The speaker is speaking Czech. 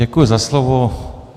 Děkuji za slovo.